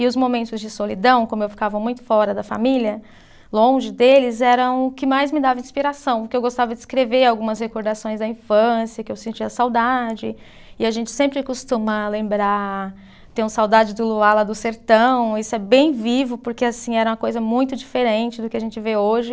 E os momentos de solidão, como eu ficava muito fora da família, longe deles, eram o que mais me dava inspiração, porque eu gostava de escrever algumas recordações da infância, que eu sentia saudade, e a gente sempre costuma lembrar, tenho saudade do luar lá do sertão, isso é bem vivo, porque assim, era uma coisa muito diferente do que a gente vê hoje,